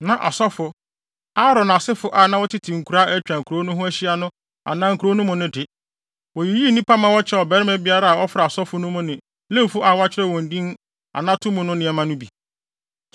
Na asɔfo, Aaron asefo a na wɔtete nkuraa a atwa nkurow no ho ahyia no anaa nkurow no mu no de, woyiyii nnipa ma wɔkyɛɛ ɔbarima biara a ɔfra asɔfo no mu ne Lewifo a wɔakyerɛw wɔn din anato mu no nneɛma no bi.